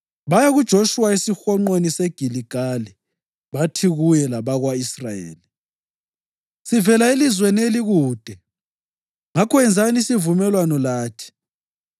Baya kuJoshuwa esihonqweni seGiligali bathi kuye lakwabako-Israyeli, “Sivela elizweni elikude; ngakho yenzani isivumelwano lathi.”